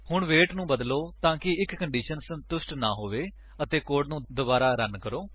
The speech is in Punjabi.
ਹੁਣ ਵੇਟ ਨੂੰ ਬਦਲੋ ਤਾਂਕਿ ਇੱਕ ਕੰਡੀਸ਼ਨ ਸੰਤੁਸ਼ਟ ਨਾਂ ਹੋਵੇ ਅਤੇ ਕੋਡ ਨੂੰ ਦੋਬਾਰਾ ਰਨ ਕਰੋ